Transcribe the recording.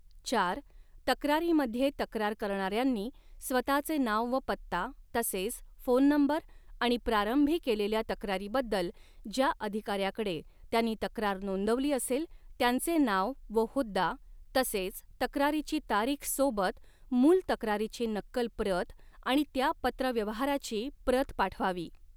चार तक्रारीमध्ये तक्रार करणार्यांनी स्वताचे नाव व पत्ता तसेच फोन नंबर आणि प्रारंभी केलेल्या तक्रारी बद्दल ज्या अधिकाऱ्याकडे त्यांनी तक्रार नोंदवली असेल त्यांचे नाव व हुद्दा तसेच तक्रारीची तारीख सोबत मूळ तक्रारीची नक्कल प्रत आणि त्या पत्र व्यवहाराची प्रत पाठवावी.